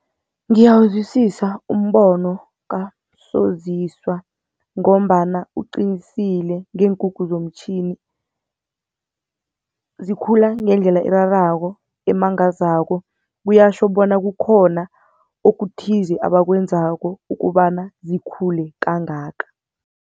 Ngiyawuzwisisa umbono kaMsoziswa ngombana uqinisile ngeenkukhu zomtjhini, zikhula ngendlela erarako, emangazako kuyatjho bona kukhona okuthize abakwenzako ukobana zikhule kangaka.